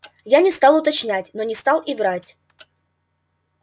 я не стал уточнять но не стал и врать